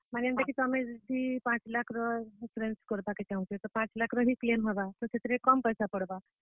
ମାନେ ଯେନ୍ତାକି ତୁମେ ପାଞ୍ଚ ଲାଖ୍ ର insurance କରବା କେ ଚାହୁଁଛ, ବେଲେ ପାଞ୍ଚ ଲାଖର ହି PN ହେବା, ବେଲେ ସେଥିରେ କମ୍ ପଏସା ପଡବା।